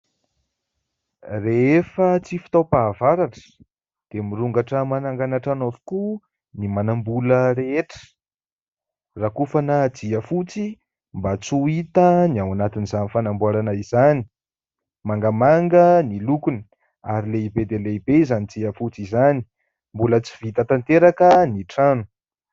Rehefa tsy fotoanam-pahavaratra dia mirongatra manangana trano avokoa ny manam-bola rehetra. Rakofana jiafotsy mba tsy ho hita ny ao anatin'izany fanamboarana izany ; mangamanga ny lokona ary lehibe dia lehibe izany jiafotsy izany. Mbola tsy vita tanteraka ny trano.